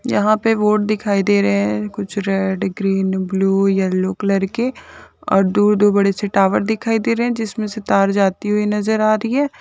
यहाँ पे बोट दिखाई दे रहे है कुछ red green blue yellow colour के और दो-दो बड़े टावर दिखाई दे रही है जिसमे से तार जाती हुई नजर आ रही है।